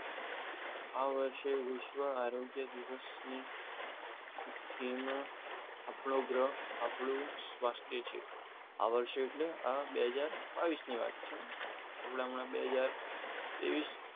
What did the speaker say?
આ વર્ષે વિશ્વ આરોગ્ય દિવસની આપણો સ્વાસ્થ્ય છે આ વર્ષે એટલે આ બે હજાર બાવીસ ની વાત છે હું હમણાં બે હજાર ત્રેવિસ